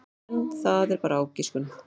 En það er bara ágiskun.